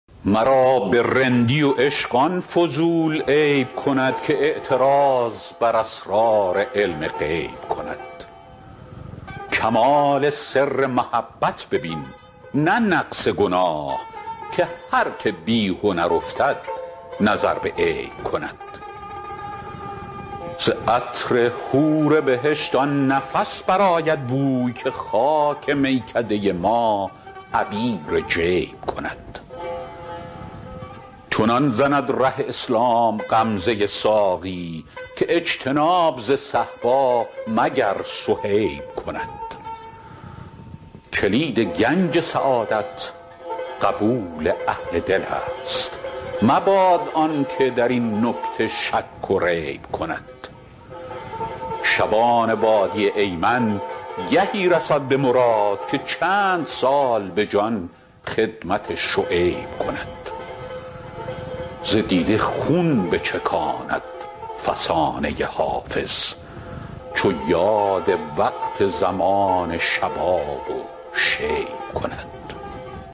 مرا به رندی و عشق آن فضول عیب کند که اعتراض بر اسرار علم غیب کند کمال سر محبت ببین نه نقص گناه که هر که بی هنر افتد نظر به عیب کند ز عطر حور بهشت آن نفس برآید بوی که خاک میکده ما عبیر جیب کند چنان زند ره اسلام غمزه ساقی که اجتناب ز صهبا مگر صهیب کند کلید گنج سعادت قبول اهل دل است مباد آن که در این نکته شک و ریب کند شبان وادی ایمن گهی رسد به مراد که چند سال به جان خدمت شعیب کند ز دیده خون بچکاند فسانه حافظ چو یاد وقت زمان شباب و شیب کند